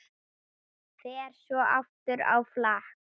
Fer svo aftur á flakk.